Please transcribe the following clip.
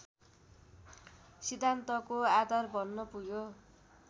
सिद्धान्तको आधार बन्न पुग्यो